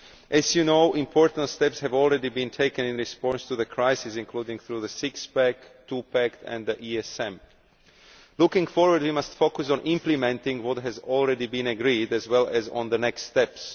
As you know, important steps have already been taken in response to the crisis, including through the six pack, two pack, and the ESM. Looking forward, we must focus on implementing what has already been agreed, as well as on the next steps.